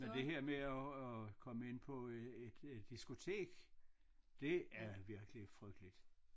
Men det her med at at komme ind på et et diskotek det er virkelig frygteligt